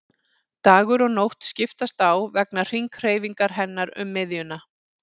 Dagur og nótt skiptast á vegna hringhreyfingar hennar um miðjuna.